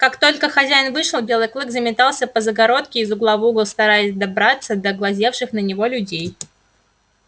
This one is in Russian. как только хозяин вышел белый клык заметался по загородке из угла в угол стараясь добраться до глазевших на него людей